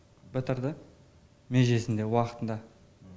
бітірді межесінде уақытында